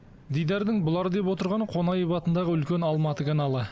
дидардың бұлар деп отырғаны қонаев атындағы үлкен алматы каналы